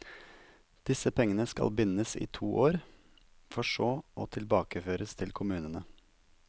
Disse pengene skal bindes i to år, for så å tilbakeføres til kommunene.